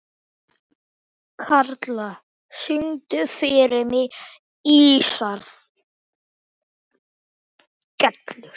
Karla, syngdu fyrir mig „Ísaðar Gellur“.